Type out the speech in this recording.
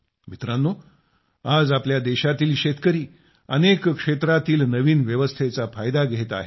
मित्रांनो आज आपल्या देशातील शेतकरी अनेक क्षेत्रातील नवीन व्यवस्थेचा फायदा घेत आहेत